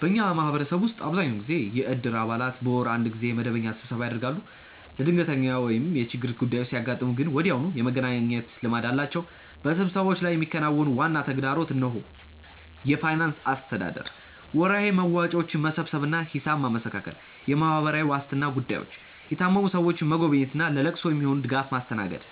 በእኛ ማህበረሰብ ውስጥ አብዛኛውን ጊዜ የእድር አባላት በወር አንድ ጊዜ መደበኛ ስብሰባ ያደርጋሉ። ለድንገተኛ ወይም የችግር ጉዳዮች ሲያጋጥሙ ግን ወዲያውኑ የመገናኘት ልማድ አላቸው። በስብሰባዎቹ ላይ የሚከናወኑ ዋና ተግባራት እነሆ፦ የፋይናንስ አስተዳደር፦ ወርሃዊ መዋጮዎችን መሰብሰብ እና ሂሳብ ማመሳከር። የማህበራዊ ዋስትና ጉዳዮች፦ የታመሙ ሰዎችን መጎብኘት እና ለለቅሶ የሚሆን ድጋፍ ማስተናገድ።